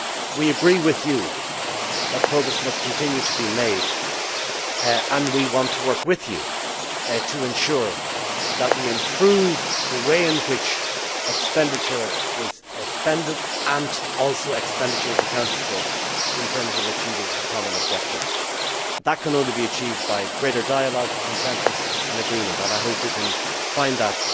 We agree with you that progress must continue to be made, and we want to work with you to ensure that we improve the way in which expenditure is carried out and the way in which expenditure is accounted for in terms of achieving our common objectives. This can only be achieved by greater dialogue, consensus and agreement, and I hope we will see this